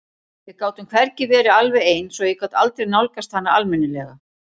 Við gátum hvergi verið alveg ein svo ég gat aldrei nálgast hana almennilega.